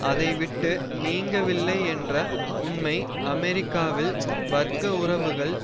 அதை விட்டு நீங்கவில்லை என்ற உண்மை அமெரிக்காவில் வர்க்க உறவுகள்